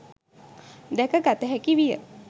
දැකගත හැකිවිය.